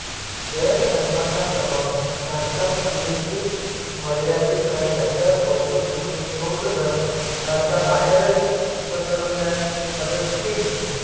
जैन धर्माचा प्रभाव भारतापुरतेच मर्यादित राहिला तर बौद्ध भिक्कूंनी बौद्ध धर्म भारताबाहेरही पसरवण्यास मदत केली